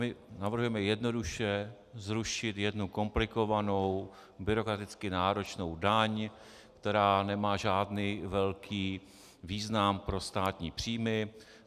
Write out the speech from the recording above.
My navrhujeme jednoduše zrušit jednu komplikovanou, byrokraticky náročnou daň, která nemá žádný velký význam pro státní příjmy.